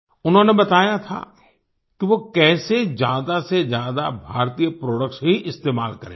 उन्होंने बताया था कि वो कैसे ज्यादा से ज्यादा भारतीय प्रोडक्ट्स ही इस्तेमाल करेंगे